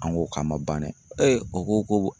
An ko k'a ma ban dɛ. o ko ko